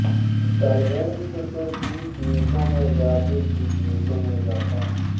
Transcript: solvents کی قیمتوں میں اضافے کی قیمتوں میں اضافہ